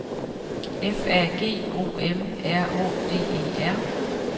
F A G O M R Å D E R